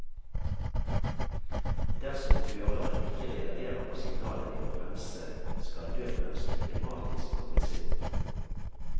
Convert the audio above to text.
Dersom føreren ikke reagerer på signalet ved å bremse, skal nødbremsen automatisk kobles inn.